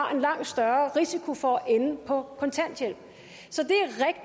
har en langt større risiko for at ende på kontanthjælp så